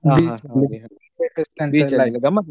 ಗಮ್ಮತಿತ್ತಾ?